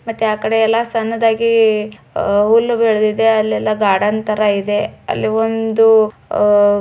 ಮತ್ತೆ ಆ ಕಡೆಯಲ್ಲ ಸಣ್ಣದಾಗಿ ಹುಲ್ ಬೆಳದ್ದಿದೆ ಅಲ್ಲೆಲ್ಲಾ ಗಾರ್ಡನ್ ತರ ಇದೆ ಅಲ್ಲೊಂದು ಅಹ್ --